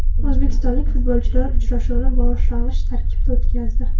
O‘zbekistonlik futbolchilar uchrashuvni boshlang‘ich tarkibda o‘tkazdi.